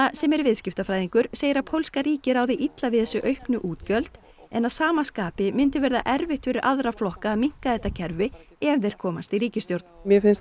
sem er viðskiptafræðingur segir að pólska ríkið ráði illa við þessi auknu útgjöld en að sama skapi myndi verða erfitt fyrir aðra flokka að minnka þetta kerfi ef þeir komast í ríkisstjórn